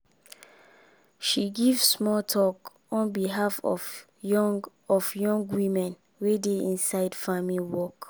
she give small talk on behalf of young of young women wey dey inside farming work